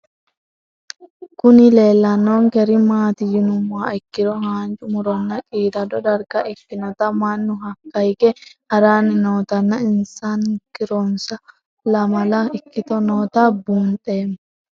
Kuni lelanonker mati yinumoha ikiro hanja muronna qidado darga ikinota mannu haka hige harani nootana insanokironsa lamala ikoti nota bunxemo